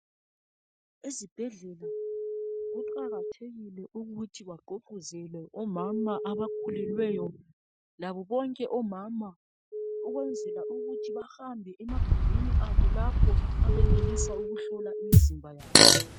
Ezibhedlela kuqakathekile ukuthi bagqugquzele omama abakhulelweyo labo bonke omama ukwenzela ukuthi bahambe emagumbini abo lapho abenelisa ukuhlola imizimba yabo.